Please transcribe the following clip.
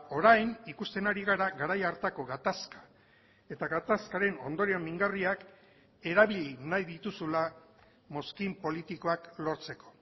orain ikusten ari gara garai hartako gatazka eta gatazkaren ondorio mingarriak erabili nahi dituzula mozkin politikoak lortzeko